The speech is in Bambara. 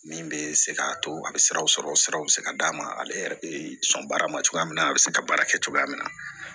Min bɛ se k'a to a bɛ siraw sɔrɔ siraw bɛ se ka d'a ma ale yɛrɛ bɛ sɔn baara ma cogoya min na a bɛ se ka baara kɛ cogoya min na